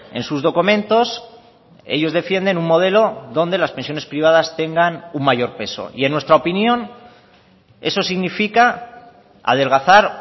en sus documentos ellos defienden un modelo donde las pensiones privadas tengan un mayor peso y en nuestra opinión eso significa adelgazar